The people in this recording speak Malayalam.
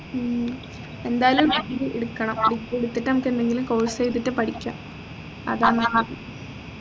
ഉം എന്തായാലും degree എടുക്കണം degree എടുത്തിട്ട് നമ്മുക്ക് എന്തെകിലും course ചെയ്തിട്ട് പഠിക്കാംഅതാ നല്ലത്